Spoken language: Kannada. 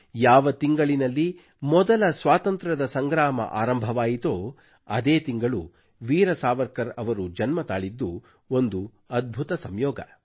ಯಾವ ತಿಂಗಳಿನಲ್ಲಿ ಮೊದಲ ಸ್ವಾತಂತ್ರ್ಯದ ಸಂಗ್ರಾಮ ಆರಂಭವಾಯಿತೋ ಅದೇ ತಿಂಗಳು ವೀರ ಸಾವರ್ಕರ್ ಅವರು ಜನ್ಮ ತಾಳಿದ್ದು ಒಂದು ಅದ್ಭುತ ಸಂಯೋಗ